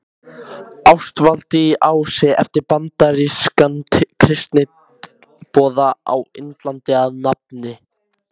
Ástvaldi í Ási eftir bandarískan kristniboða á Indlandi að nafni